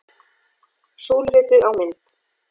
Súluritið á mynd